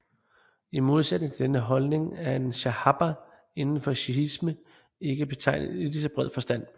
I modsætning til denne holdning er en shahaba indenfor shiisme ikke betegnet i ligeså bred forstand